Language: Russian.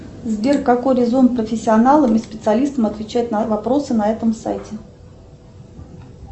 сбер какой резон профессионалам и специалистам отвечать на вопросы на этом сайте